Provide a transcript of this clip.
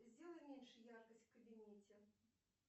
сделай меньше яркость в кабинете